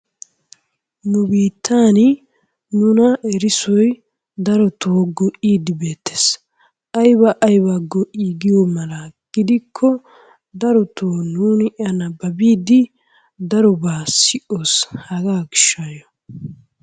Nu biittaan nuna erissoy darotoo go'iidi beettees. Ayba aybaa go'ii giyo mala gidikko darootoo nuuni a nababiidi darooba si'oos hagaa gishshayoo.